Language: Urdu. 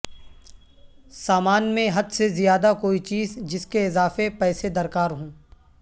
سامان میں حد سے زیادہ کوئی چیز جس کے اضافے پیسے درکار ہوں